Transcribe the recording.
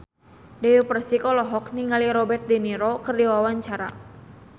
Dewi Persik olohok ningali Robert de Niro keur diwawancara